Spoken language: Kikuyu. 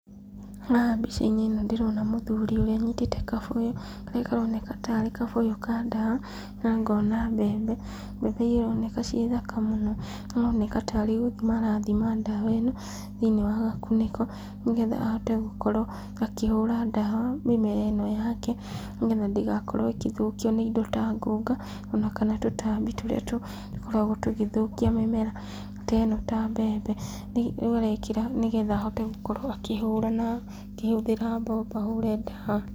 Haha mbica-inĩ ndĩrona mũthuri ũrĩa ũnyitĩte kabuyu, karĩa karoneka tarĩ ka ndawa , na ngona mbembe, mbembe iria ironeka ci thaka mũno, ironeka tarĩ gũthima arathima ndawa ĩno thĩiniĩ wa gakunĩko, nĩgetha ahote gũkorwo akĩhũra ndawa mĩmera ĩno yake, nĩgetha ndĩgakorwo ĩkĩthũkio nĩ indo ta ngũga, ona kana tũtambi tũrĩa tũkoragwo tũgĩthũkia mĩmera ta ĩno ta mbembe, rĩu arekĩra nĩgetha ahote gũkorwo akĩhũra ,akĩhũthĩra mbombo ahũre ndawa.